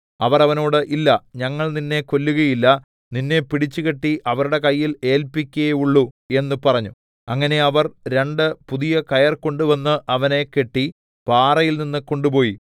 അവർ അവനോട് ഇല്ല ഞങ്ങൾ നിന്നെ കൊല്ലുകയില്ല നിന്നെ പിടിച്ചുകെട്ടി അവരുടെ കയ്യിൽ ഏല്പിക്കേയുള്ളു എന്ന് പറഞ്ഞു അങ്ങനെ അവർ രണ്ട് പുതിയ കയർ കൊണ്ട് അവനെ കെട്ടി പാറയിൽനിന്ന് കൊണ്ടുപോയി